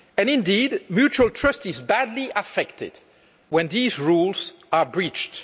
Indeed, mutual trust is badly affected when these rules are breached.